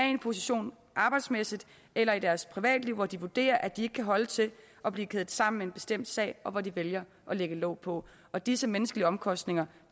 i en position arbejdsmæssigt eller i deres privatliv hvor de vurderer at de ikke kan holde til at blive kædet sammen med en bestemt sag og hvor de vælger at lægge låg på og disse menneskelige omkostninger